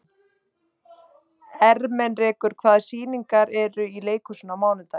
Ermenrekur, hvaða sýningar eru í leikhúsinu á mánudaginn?